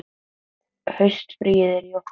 Haustfríið er í október.